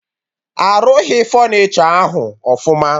Arụghị fọnichọ ahụ ọfụma